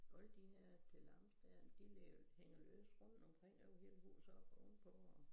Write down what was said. Alt de havde til langs dér de ligger hænger løst rundt omkring over hele huset oppe oven på og